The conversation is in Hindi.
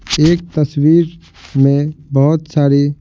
एक तस्वीर में बहुत सारी--